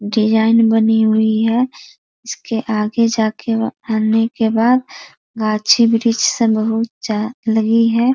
Design बनी हुई है इसके आगे जाके आने के बाद गाछी - वृक्ष सब बहुत ज्या लगी है।